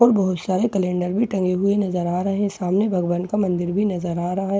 और बहुत सारे कैलेंडर भी टंगे हुए नजर आ रहे हैं सामने भगवान का मंदिर भी नजर आ रहा है ।